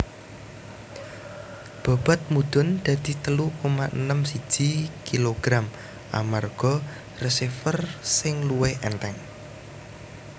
Bobot mudhun dadi telu koma enem siji kg amarga receiver sing luwih ènthèng